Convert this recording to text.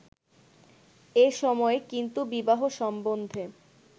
এ সময়ে কিন্তু বিবাহ সম্বন্ধে